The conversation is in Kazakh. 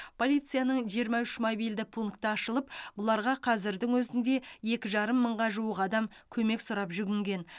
полицияның жиырма үш мобильді пункті ашылып бұларға қазірдің өзінде екі жарым мыңға жуық адам көмек сұрап жүгінген